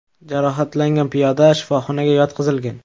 Jarohatlangan piyoda shifoxonaga yotqizilgan.